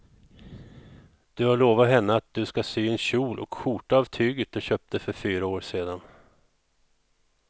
Du har lovat henne att du ska sy en kjol och skjorta av tyget du köpte för fyra år sedan.